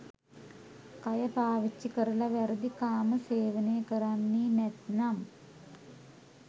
කය පාවිච්චි කරලා වැරදි කාම සේවනය කරන්නේ නැත්නම්